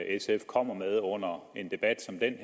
sf kommer med under en debat som den